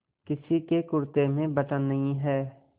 किसी के कुरते में बटन नहीं है